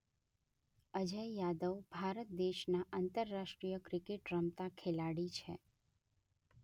અજય યાદવ ભારત દેશના આંતરરાષ્ટ્રીય ક્રિકેટ રમતા ખેલાડી છે